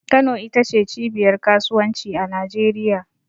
Kano ita ce cibiyar kasuwanci a Najeriya.